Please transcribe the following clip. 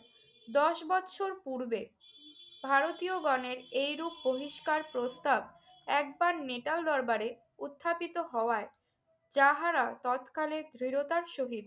দশ বৎসর পূর্বে ভারতীয়গণের এরূপ বহিষ্কার প্রস্তাব একবার নেটাল দরবারে উত্থাপিত হওয়ায় যাহারা তৎকালে দৃঢ়তার সহিত